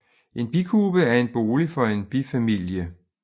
En bikube er en bolig for en bifamilie